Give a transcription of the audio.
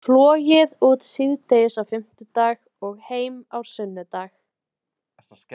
Flogið út síðdegis á fimmtudag og heim á sunnudag.